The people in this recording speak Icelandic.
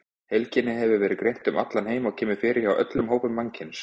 Heilkennið hefur verið greint um allan heim og kemur fyrir hjá öllum hópum mannkyns.